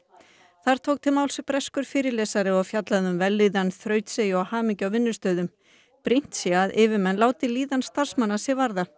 þar tók til máls breskur fyrirlesari og fjallaði um vellíðan þrautseigju og hamingju á vinnustöðum brýnt sé að yfirmenn láti líðan starfsmanna sig varða